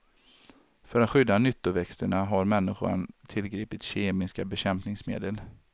För att skydda nyttoväxterna har människan tillgripit kemiska bekämpningsmedel.